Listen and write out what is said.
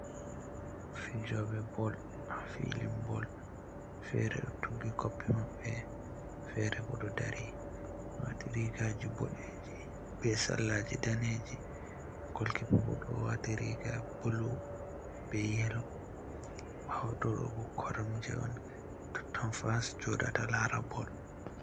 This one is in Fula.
Fijoɓe bol hafilin bol, fere ɗo tuggi koppi maɓɓe, fere bo ɗo dari wati rigaji bodeji be sarlaji daneji, golkipobo ɗo wati riga bulu be yelo. ɓawo tobo koram je on totton fans joɗata lara bol.